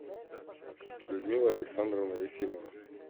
людмила александровна ефимова